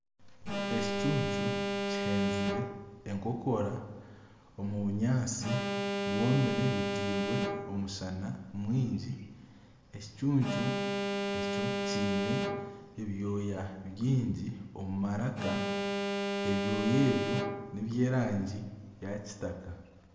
Ekicuncu kihenzire enkokora omu bunyatsi bwomire butairwe omushana mwingi ekicuncu ekyo kiine ebyooya bingi omu maraka ebyooya ebyo n'ebyerangi ya kitaka .